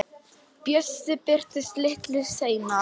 Bjössi birtist litlu seinna.